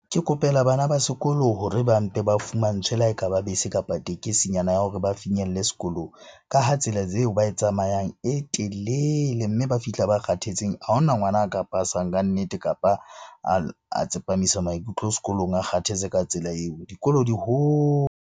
Ke kopela bana ba sekolo hore ba mpe ba fumantshwe le ha e ka ba bese, kapa tekesi nyana ya hore ba finyelle sekolong. Ka ha tsela tseo ba e tsamayang e telele mme ba fihla ba kgathetseng. Ha hona ngwana a ka pasang kannete, kapa a tsepamisa maikutlo sekolong a kgathetse ka tsela eo. Dikolo di .